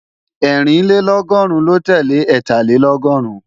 Ẹ́rìnlélọ́gọ́rùn lo tele Ẹ́tàlélọ́gọ́rùn